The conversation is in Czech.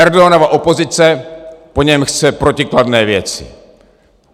Erdoganova opozice po něm chce protikladné věci.